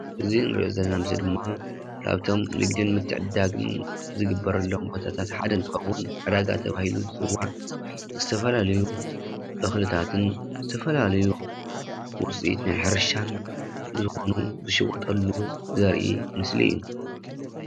እዚ እንሪኦ ዘለና ምስሊ ድማ ካብቶም ንግድን ምትዕድዳግን ዝግበረሎም ቦታታት ሓደ እንትኸውን ዕዳጋ ተባሂሉ ዝፅዋዕ ዝተፈላለዩ ተኽልታትን ዝተፈላለዩ ውፂኢት ናይ ሕርሻን ዝኾኑ ዝሽወጠሉ ዘርኢ ምስሊ እዩ።